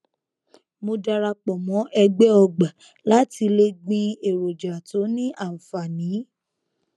mo darapọ mọ ẹgbẹ ọgbà láti le gbin èròjà tó ní ànfààní